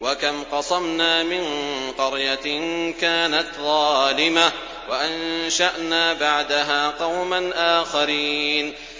وَكَمْ قَصَمْنَا مِن قَرْيَةٍ كَانَتْ ظَالِمَةً وَأَنشَأْنَا بَعْدَهَا قَوْمًا آخَرِينَ